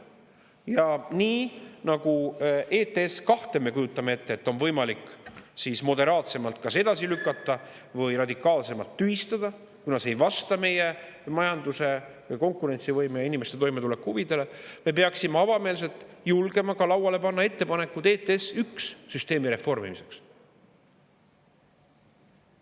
Ja nii nagu ETS-2 puhul me kujutame ette, et on võimalik moderaatsemalt kas edasi lükata või radikaalsemalt tühistada, kuna see ei vasta meie majanduse konkurentsivõime ja inimeste toimetuleku huvidele, me peaksime avameelselt julgema ka lauale panna ettepaneku ETS-1 süsteemi reformimiseks.